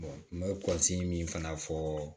n bɛ min fana fɔ